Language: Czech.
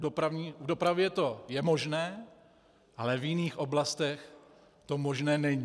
V dopravě to je možné, ale v jiných oblastech to možné není.